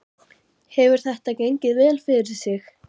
Hefur þetta gengið vel fyrir sig?